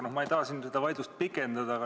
Aga ma ei taha seda vaidlust pikendada.